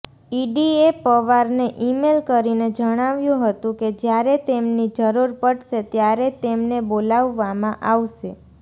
ઈડીએ પવારને ઈમેલ કરીને જણાવ્યું હતું કે જ્યારે તેમની જરૂર પડશે ત્યારે તેમને બોલાવવામાં આવશે